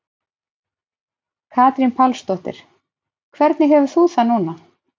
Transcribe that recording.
Katrín Pálsdóttir: Hvernig hefur þú það núna?